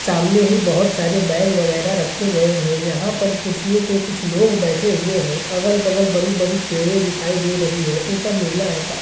सामने ही बहुत सारे बैग वैगरह रखे गए हैं यहाँ पर कुर्सियों पर कुछ लोग बैठे हुए हैं अगल-बगल बड़ी-बड़ी पेड़ दिखाई दे रही है ऊपर नीला आकाश --